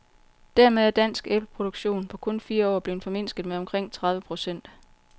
Dermed er dansk æbleproduktion på kun fire år blevet formindsket med omkring tredive procent.